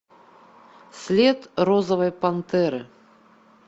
след розовой пантеры